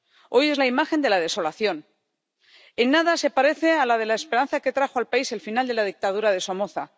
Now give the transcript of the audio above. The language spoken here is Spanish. Hoy es la imagen de la desolación. En nada se parece a la de la esperanza que trajo al país el final de la dictadura de Somoza.